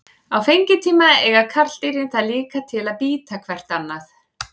Á fengitíma eiga karldýrin það líka til að bíta hvert annað.